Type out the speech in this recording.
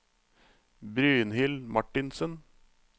Brynhild Martinsen